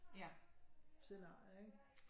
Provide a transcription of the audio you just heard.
Scenarier ikke